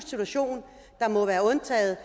situation der må være undtaget